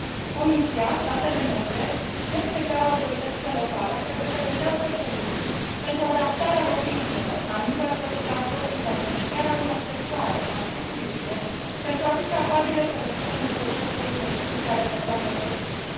Comisia, statele membre și, în special, autoritățile locale trebuie să găsească soluții pentru adaptarea locuințelor, a mijloacelor de transport în comun și chiar a unor sectoare, cum ar fi turismul, pentru a fi capabile să răspundă necesităților specifice ale persoanelor vârstnice.